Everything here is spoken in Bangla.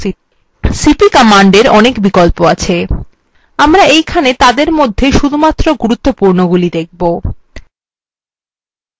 cp কমান্ডএর অনেক বিকল্প আছে আমরা এইখানে তাদের মধ্যে শুধুমাত্র গুরুত্বপূর্ণগুলি দেখব